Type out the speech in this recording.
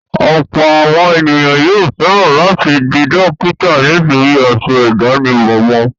Ọ̀pọ̀ àwọn ènìyàn yóò fẹ̀ran láti di dókítà nítorí aṣọ ìdánimọ̀ wọn.